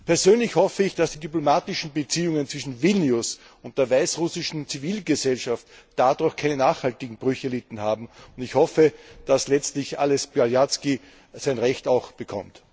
Persönlich hoffe ich, dass die diplomatischen Beziehungen zwischen Vilnius und der weißrussischen Zivilgesellschaft dadurch keine nachhaltigen Brüche erlitten hat, und ich hoffe, dass Ales Beljatzki letztlich zu seinem Recht kommt.